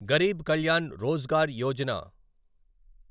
Garib Kalyan Rozgar Yojana